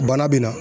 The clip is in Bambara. Bana bɛ na